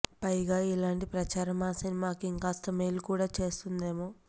పైగా ఇలాంటి ప్రచారం ఆ సినిమాకు ఇంకాస్త మేలు కూడా చేస్తుందేమో